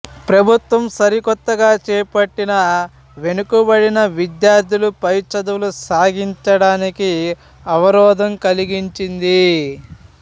ప్రభుత్వం సరికొత్తగా చేపట్టిన వెనుకబడిన విద్యార్థులు పైచదువులు సాగించడానికి అవరోధం కలిగించిది